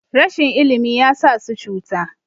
rashin ilimi ya sa su cuta